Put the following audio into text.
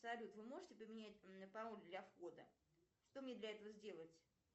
салют вы можете поменять пароль для входа что мне для этого сделать